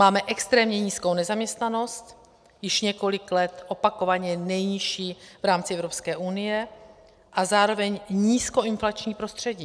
Máme extrémně nízkou nezaměstnanost, již několik let opakovaně nejnižší v rámci Evropské unie, a zároveň nízkoinflační prostředí.